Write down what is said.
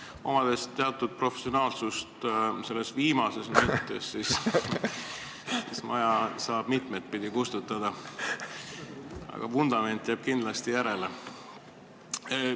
Ma olen omandanud teatud professionaalsuse selles viimases mõttes ja ütlen, et maja saab mitut pidi kustutada, aga vundament jääb kindlasti järele.